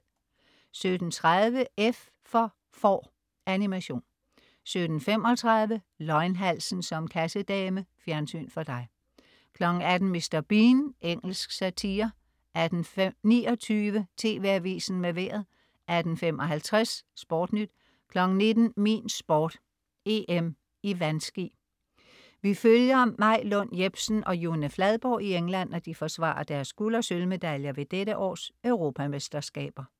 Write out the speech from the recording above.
17.30 F for får. Animation 17.35 Løgnhalsen som kassedame. Fjernsyn for dig 18.00 Mr. Bean. Engelsk satire 18.29 TV AVISEN med Vejret 18.55 SportNyt 19.00 Min Sport: EM i vandski. Vi følger Maj Lund Jepsen og June Fladborg i England, når de forsvarer deres guld- og sølvmedaljer ved dette års Europamesterskaber